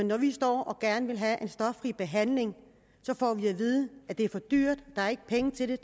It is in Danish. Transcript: når de står og gerne vil have en stoffri behandling får de at vide at det er for dyrt at der ikke er penge til det